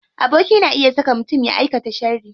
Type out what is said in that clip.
Aboki na iya saka mutum ya aika sharri.